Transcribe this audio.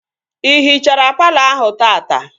Ị hichara palọ ahụ taata?